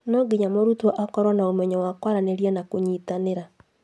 No nginya mũrutwo akorwo na ũmenyo wa kwaranĩria na kũnyitanĩra